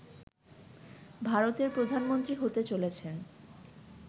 ভারতের প্রধানমন্ত্রী হতে চলেছেন